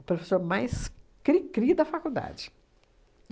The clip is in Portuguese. O professor mais cri-cri da faculdade.